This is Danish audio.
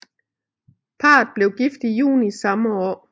Parret blev gift i juni samme år